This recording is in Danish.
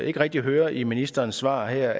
ikke rigtig høre i ministerens svar her